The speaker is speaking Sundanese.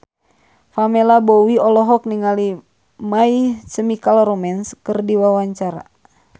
Pamela Bowie olohok ningali My Chemical Romance keur diwawancara